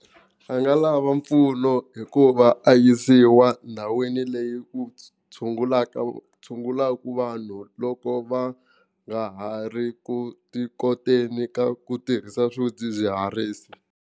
A nga lava mpfuno hikuva a yisiwa ndhawini leyi ku tshungulaka tshungulaka vanhu loko va nga ha ri ku tikoteni ka ku tirhisa swidzidziharisi.